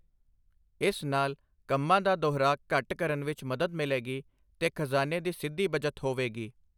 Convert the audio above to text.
ਇਸ ਨਾਲ ਕੰਮਾਂ ਦਾ ਦੁਹਰਾਅ ਘੱਟ ਕਰਨ ਵਿੱਚ ਮਦਦ ਮਿਲੇਗੀ ਤੇ ਖ਼ਜ਼ਾਨੇ ਦੀ ਸਿੱਧੀ ਬੱਚਤ ਹੋਵੇਗੀ।